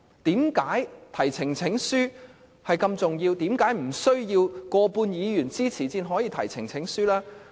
提交呈請書這麼重要，為何無須過半議員支持才可以？